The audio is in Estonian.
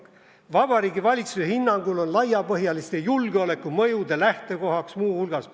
No "Vabariigi Valitsuse hinnangul on laiapõhjaliste julgeolekumõjude lähtekohaks muu hulgas ...